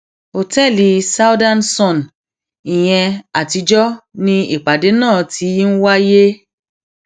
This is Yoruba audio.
ọtẹẹlì southern sun ìyẹn àtijọ ni ìpàdé náà ti ń wáyé